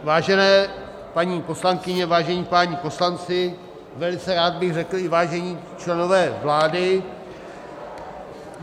Vážené paní poslankyně, vážení páni poslanci - velice rád bych řekl i vážení členové vlády...